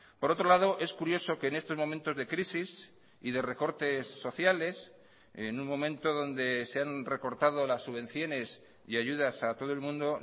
por otro lado es curioso que en estos momentos de crisis y de recortes sociales en un momento donde se han recortado las subvenciones y ayudas a todo el mundo